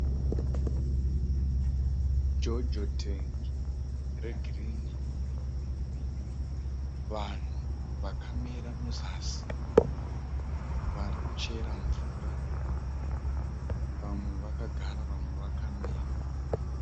Jojo tengi regirinhi. Vanhu vakamira muzasi vari kuchera mvura, vamwe vakagara vamwe vaka mira.